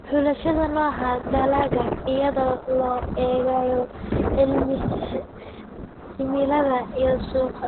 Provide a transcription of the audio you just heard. Xulashada nooca dalagga iyadoo loo eegayo cimilada iyo suuqa.